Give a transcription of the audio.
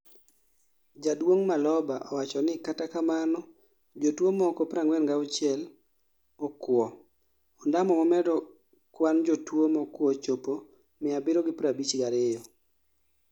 Jaduong' Maloba owacho ni katakamano jotuo moko 46 okuo, ondamo mamedo kwan jotuo mokuo chopo 752